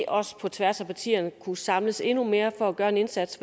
også på tværs af partierne kunne samles endnu mere for at gøre en indsats